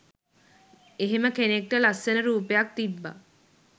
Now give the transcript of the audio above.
එහෙම කෙනෙක්ට ලස්සන රූපයක් තිබ්බ